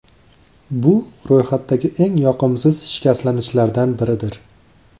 Bu ro‘yxatdagi eng yoqimsiz shikastlanishlardan biridir.